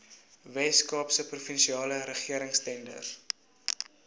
weskaapse provinsiale regeringstenders